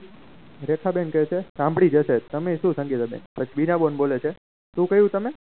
રેખા બેન કહે છે શામ્બડી જશે તમે શું સંગીતા બેન પછી બીના બેન કહે છે તું કહ્યું તમે